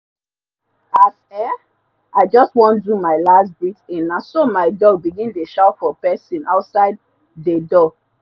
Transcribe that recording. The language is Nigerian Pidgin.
as um i jus wan do my las breath in naso my dog begin dey shout for pesin outside dey door